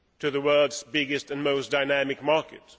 the world's biggest and most dynamic market.